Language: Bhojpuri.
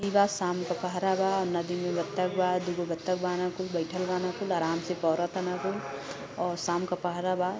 ई बा शाम का पहरा बा नदी में बत्तख बा दूगो बत्तख बान कुल बईठल बान कुल आराम से पौंर तान कुल औ शाम का पहरा बा।